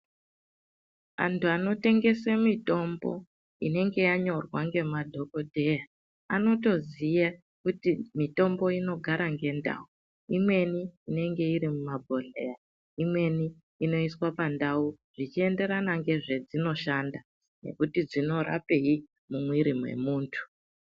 Anthu anotengese mitombo inenge yanyorwa ngemadhokodheya, anotoziya kuti mitombo inogara ngendau, imweni inenge iri mumabhodhleya imweni inoiswa pandau zvichiendera ngezvedzinoshanda, nekuti dzinorapei mumwiri memunthu.